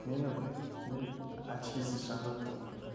мені очкисіз шақырады тұғын